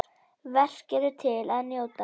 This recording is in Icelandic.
Verk eru til að njóta.